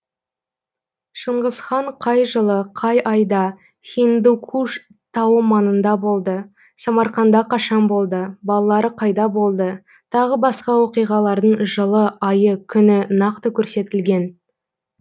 шыңғыс хан қай жылы қай айда хиндукуш тауы маңында болды самарқанда қашан болды балалары қайда болды тағы басқа оқиғалардың жылы айы күні нақты көрсетілген